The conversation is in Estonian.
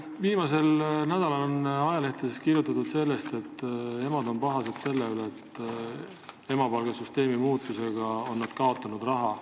Viimasel nädalal on ajalehtedes kirjutatud sellest, et emad on pahased selle pärast, et nad on emapalga süsteemi muutmise tõttu raha kaotanud.